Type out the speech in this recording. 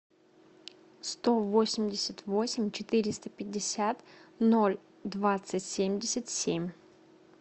сто восемьдесят восемь четыреста пятьдесят ноль двадцать семьдесят семь